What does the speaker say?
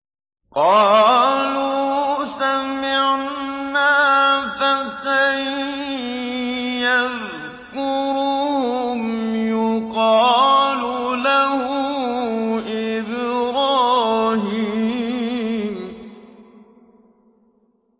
قَالُوا سَمِعْنَا فَتًى يَذْكُرُهُمْ يُقَالُ لَهُ إِبْرَاهِيمُ